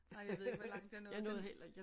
Ej jeg ved ikke hvor langt jeg nåede den